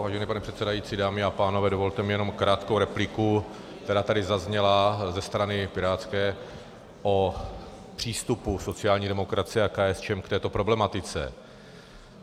Vážený pane předsedající, dámy a pánové, dovolte mi jenom krátkou repliku, která tady zazněla ze strany pirátské, o přístupu sociální demokracie a KSČM k této problematice.